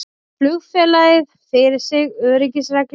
Bar flugfélagið fyrir sig öryggisreglum